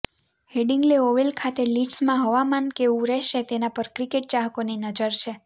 Headingley Oval ખાતે લીડ્સમાં હવામાન કેવું રહેશે તેના પર ક્રિકેટ ચાહકોની નજર છે